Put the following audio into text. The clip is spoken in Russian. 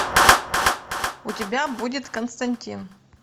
у тебя будет константин